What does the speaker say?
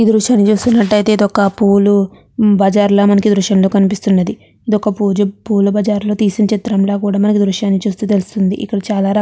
ఈ దృశ్యాన్ని చూస్తున్నట్లయితే కనుక ఇది ఒక పూల బజారులాగా ఈ దృశ్యంలో కనిపిస్తూ ఉన్నది. పూల బజారులో తీసిన చిత్రం లాగా మనకి దృశ్యాన్ని చూసి చెప్పవచ్చు.